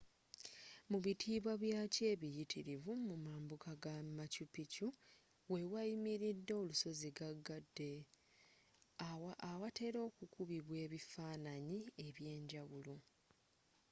mubitiibwa byakyo ebiyitirivu mu mambukka ga machu picchu wewayimiridde olusozi gagadde awatera okukubibwa ebifaananyi ebyenjawulo